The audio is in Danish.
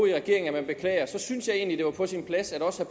i regeringen at man beklager synes jeg egentlig at på sin plads at også